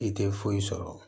I tɛ foyi sɔrɔ